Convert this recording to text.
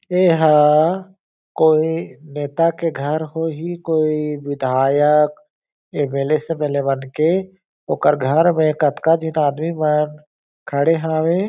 एहा कोई नेता के घर होइ कोई विधायक एम.एल.ए. सेमेले बन के ओकर घर में कतका झीन आदमी मन खड़े हावे।